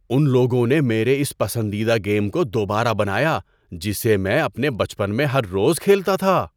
ان لوگوں نے میرے اس پسندیدہ گیم کو دوبارہ بنایا جسے میں اپنے بچپن میں ہر روز کھیلتا تھا!